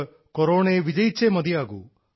നമുക്ക് കൊറോണയെ വിജയിച്ചേ മതിയാകൂ